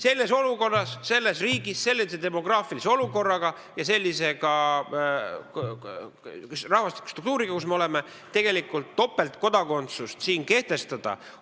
Selles olukorras, selles riigis, sellises demograafilises olukorras ja sellise rahvastikustruktuuri juures, mis meil on, topeltkodakondsust lubada ei saa.